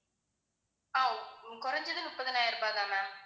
ஆஹ் குறைஞ்சது முப்பதாயிரம் ரூபாய் தான் ma'am